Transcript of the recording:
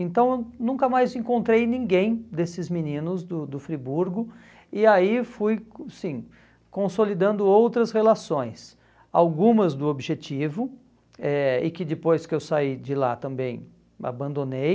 Então, nunca mais encontrei ninguém desses meninos do do Friburgo, e aí fui assim consolidando outras relações, algumas do objetivo, eh e que depois que eu saí de lá também abandonei,